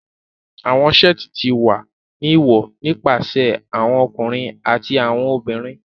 Awọn seeti ti wa ni wọ nipasẹ awọn ọkunrin ati awọn obinrin